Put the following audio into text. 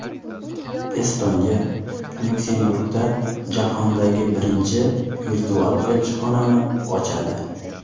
Estoniya Lyuksemburgda jahondagi birinchi virtual elchixonani ochadi.